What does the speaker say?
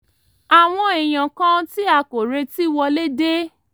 àwọn èèyàn kan tí a kò retí wọlé dé